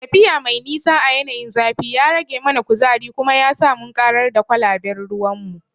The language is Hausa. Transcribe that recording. Tafiya mai nisa a yanayin zafi ya rage mana kuzari kuma yasa mun karar da kwalaben ruwanmu.